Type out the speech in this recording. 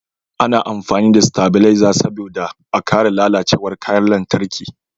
A na amfani da stabileza saboda a kare lalacewar kayan lantarki